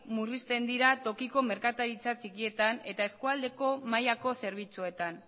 murrizten dira tokiko merkataritza txikietan eta eskualdeko mailako zerbitzuetan